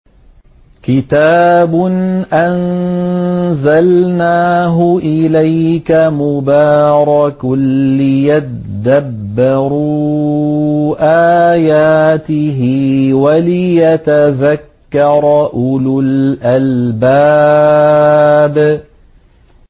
كِتَابٌ أَنزَلْنَاهُ إِلَيْكَ مُبَارَكٌ لِّيَدَّبَّرُوا آيَاتِهِ وَلِيَتَذَكَّرَ أُولُو الْأَلْبَابِ